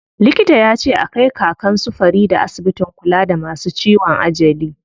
Likita yace a kai Kakan su Farida asibitin kula da masu ciwon ajali.